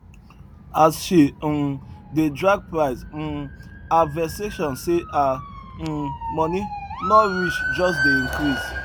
as she um dey drag price um her vexation say her um money no reach just dey increase